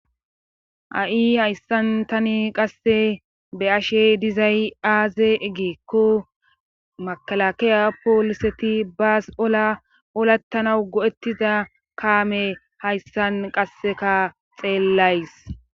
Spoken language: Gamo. ha7i hayssan tani qasse be7ashe dizay aaze giikko makelakeya pooliseti bas olaa olattanawu go7ettiza kaamey hayssan qassika xeellays.